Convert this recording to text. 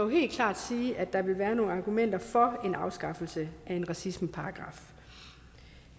helt klart sige at der vil være nogle argumenter for en afskaffelse af en racismeparagraf